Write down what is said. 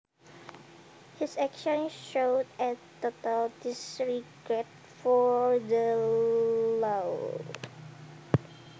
His actions showed a total disregard for the law